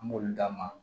An b'olu d'a ma